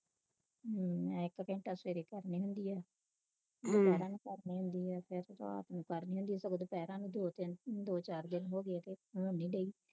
ਹਮ ਮੈਂ ਇਕ ਘੰਟਾ ਸਵੇਰੇ ਕਰਨੀ ਹੁੰਦੀ ਐ ਹੁੰਦੀ ਕਰਨੀ ਹੁੰਦੀ ਐ ਫਿਰ ਰਾਤ ਨੂੰ ਕਰਨੀ ਹੁੰਦੀ ਦੁਪਹਿਰਾ ਨੂੰ ਦੋ ਤਿੰਨ ਦੋ ਚਾਰ ਤਿੰਨ ਹੋ ਗਏ ਹੋਣ ਨਹੀਂ ਦਈ